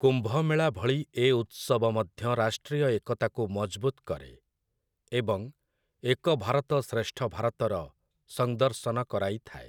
କୁମ୍ଭମେଳା ଭଳି ଏ ଉତ୍ସବ ମଧ୍ୟ ରାଷ୍ଟ୍ରୀୟ ଏକତାକୁ ମଜବୁତ୍‌ କରେ, ଏବଂ 'ଏକ ଭାରତ ଶ୍ରେଷ୍ଠ ଭାରତ'ର ସଂଦର୍ଶନ କରାଇଥାଏ ।